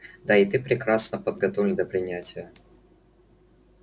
да и ты прекрасно подготовлен до принятия